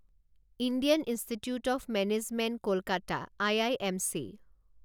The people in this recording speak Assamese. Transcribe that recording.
Indian Institute of Management Kolkata I I M C